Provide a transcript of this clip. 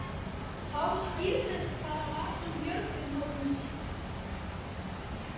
Þá skýrðist hvað það var sem Björgvin hafði séð.